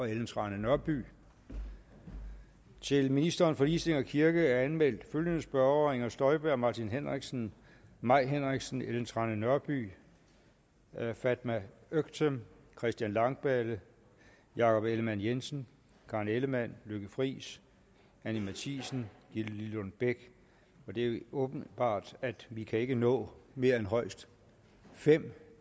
ellen trane nørby til ministeren for ligestilling og kirke er anmeldt følgende spørgere inger støjberg martin henriksen mai henriksen ellen trane nørby fatma øktem christian langballe jakob ellemann jensen karen ellemann lykke friis anni matthiesen gitte lillelund bech det er åbenbart at vi ikke kan nå mere end højst fem